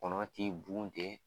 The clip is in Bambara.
Kɔnɔ t'i bun ten